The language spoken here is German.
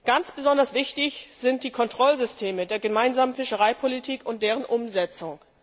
Ganz besonders wichtig sind die Kontrollsysteme der Gemeinsamen Fischereipolitik und deren Umsetzung.